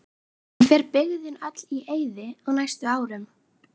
En fer byggðin öll í eyði á næstu árum?